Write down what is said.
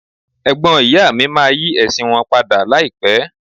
Ẹ̀gbọ́n ìyá mi máa yí ẹ̀sìn wọn padà láìpé.